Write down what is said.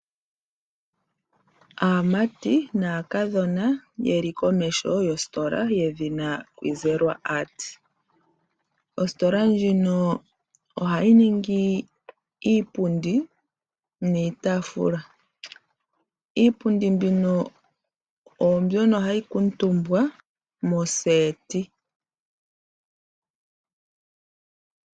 Aamati naakadhona yeli komeho gostola yedhina Zelwa Art. Ositola ndjino ohayi ningi iipundi niitafula . Iipundi mbino onzono hayi kuutumbwa mondunda yomagondjelo.